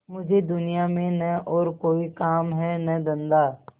मुझे दुनिया में न और कोई काम है न धंधा